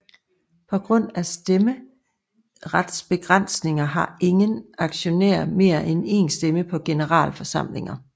På grund af stemmeretsbegrænsninger har ingen aktionær mere end en stemme på generalforsamlinger